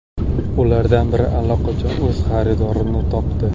Ulardan biri allaqachon o‘z xaridorini topdi.